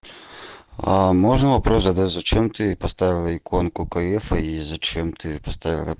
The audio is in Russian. а можно вопрос задать зачем ты поставила иконку кфх и зачем ты